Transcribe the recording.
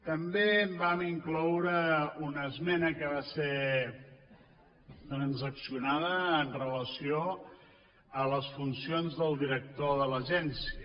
també vam incloure una esmena que va ser transaccionada amb relació a les funcions del director de l’agència